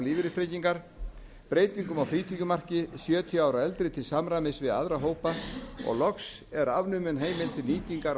lífeyristryggingar breytingar á frítekjumarki sjötíu ára og eldri til samræmis við aðra hópa og loks er afnumin heimild til